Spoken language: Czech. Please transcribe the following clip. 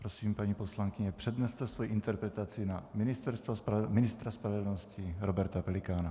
Prosím, paní poslankyně, předneste svoji interpelaci na ministra spravedlnosti Roberta Pelikána.